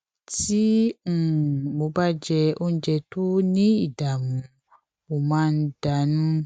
tí um mo bá jẹ oúnjẹ tó ní ìdààmú mo máa ń dà nù